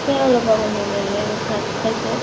আহিছে হে মানে অলপ আগত মানে, আহি ভাত খাইছে ।